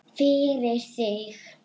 Fyrir þig.